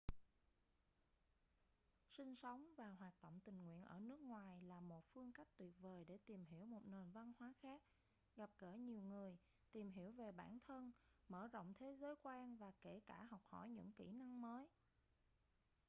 sinh sống và hoạt động tình nguyện ở nước ngoài là một phương cách tuyệt vời để tìm hiểu một nền văn hóa khác gặp gỡ nhiều người tìm hiểu về bản thân mở rộng thế giới quan và kể cả học hỏi những kỹ năng mới